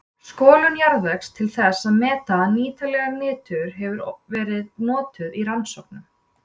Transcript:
Skolun jarðvegs til þess að meta nýtanlegt nitur hefur verið notuð í rannsóknum.